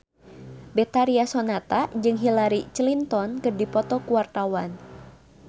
Betharia Sonata jeung Hillary Clinton keur dipoto ku wartawan